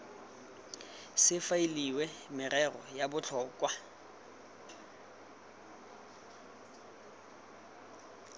se faeliwe merero ya botlhokwa